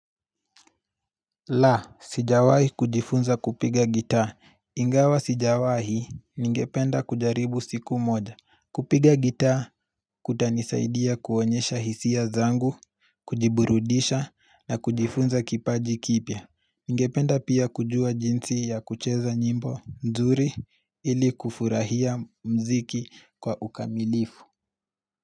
La, sijawahi kujifunza kupiga gita. Ingawa sijawahi ningependa kujaribu siku moja. Kupiga gita kutanisaidia kuonyesha hisia zangu, kujiburudisha na kujifunza kipaji kipya. Ningependa pia kujua jinsi ya kucheza nyimbo nzuri ili kufurahia mziki kwa ukamilifu.